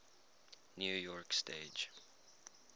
new york stage